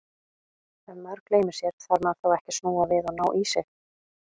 Ef maður gleymir sér, þarf maður þá ekki að snúa við og ná í sig?